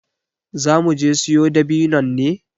Za muje siyo dabinnon ne?